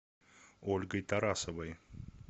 ольгой тарасовой